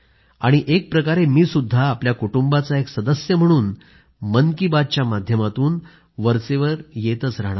आणि एकाप्रकारे मी सुद्धा आपल्या कुटुंबाचा एक सदस्य म्हणून मन की बातच्या माध्यमातून वरचेवर येत राहणार आहे